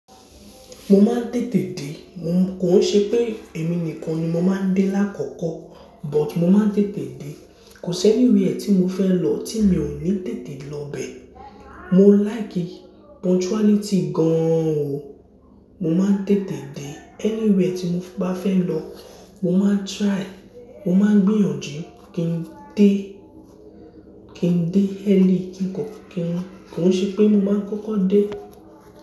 Mo máa ń tètè dé, mo n, kò n ṣe pé èmi nìkan ni mo máa ń dé lákòókò, but mo máa ń tètè dé. Kò sí anywhere tí mo fẹ́ lọ tí mi ò ní tètè lọbẹ. Mo like punctuality gan an o. Mo máa ń tètè dé anywhere tí mo bá fẹ́ lọ. Mo máa ń try, mo máa ń gbìyànjú kí n dé, kí n dé early kí n kan kin. Kò n ṣe pé mo máa ń kókó dé.